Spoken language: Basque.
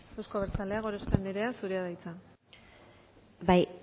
eusko abertzaleak gorospe anderea zurea da hitza bai